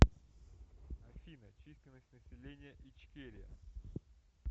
афина численность населения ичкерия